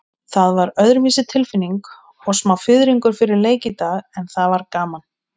Það var öðruvísi tilfinning og smá fiðringur fyrir leik í dag, en það var gaman.